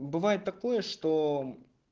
бывает такое что